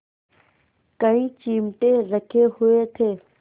कई चिमटे रखे हुए थे